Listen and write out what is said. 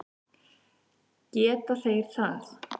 Geti þeir það?